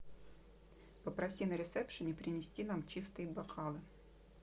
попроси на ресепшене принести нам чистые бокалы